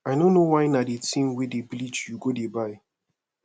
i no know why na the thing wey dey bleach you go dey buy